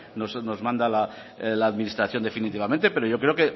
nos manda la administración definitivamente pero yo creo